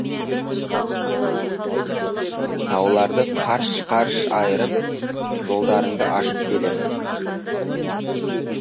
тауларды қарш қарш айырып жолдарыңды ашып келемін